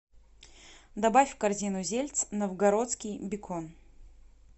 добавь в корзину зельц новгородский бекон